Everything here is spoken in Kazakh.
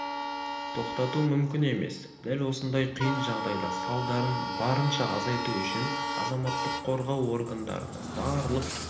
тоқтату мүмкін емес дәл осындай қиын жағдайда салдарын барынша азайту үшін азаматтық қорғау органдарының барлық